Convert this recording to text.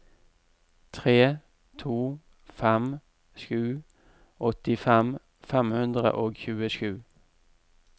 tre to fem sju åttifem fem hundre og tjuesju